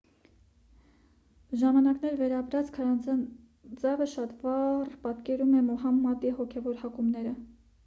ժամանակներ վերապրած քարանձավը շատ վառ պատկերում է մուհամմադի հոգևոր հակումները